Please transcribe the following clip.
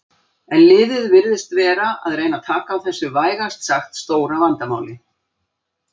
En liðið virðist vera að reyna taka á þessu vægast sagt stóra vandamáli.